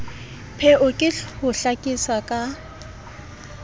pheo ke ho hlakisa ka